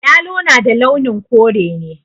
Yalo na da launin kore ne